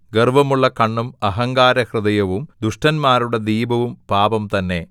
ഗർവ്വമുള്ള കണ്ണും അഹങ്കാരഹൃദയവും ദുഷ്ടന്മാരുടെ ദീപവും പാപം തന്നെ